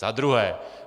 Za druhé.